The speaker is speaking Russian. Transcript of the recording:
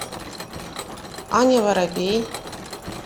аня воробей